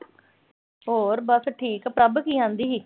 ਹੋਰ ਬਸ ਠੀਕ। ਪ੍ਰਭ ਕੀ ਆਂਦੀ ਸੀ।